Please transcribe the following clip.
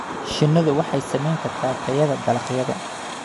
Shinnidu waxay saameyn kartaa tayada dalagyada.